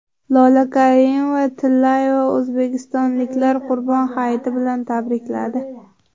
Lola Karimova-Tillayeva o‘zbekistonliklarni Qurbon hayiti bilan tabrikladi.